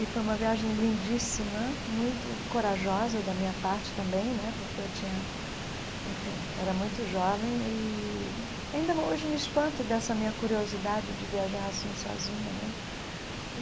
E foi uma viagem lindíssima, muito corajosa da minha parte também né, porque eu tinha... Enfim, era muito jovem e ainda hoje me espanto dessa minha curiosidade de viajar assim sozinha né.